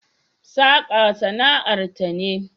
Saka sana'ar ta ne